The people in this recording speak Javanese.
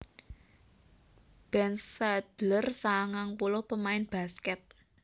Ben Schadler sangang puluh pamain baskèt